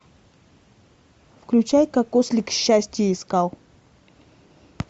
включай как ослик счастье искал